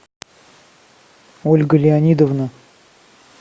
ольга леонидовна